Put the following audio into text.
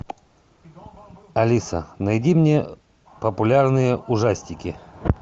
алиса найди мне популярные ужастики